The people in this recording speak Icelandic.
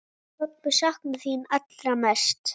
Pabbi saknar þín allra mest.